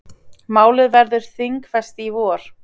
Málið verður þingfest í vor.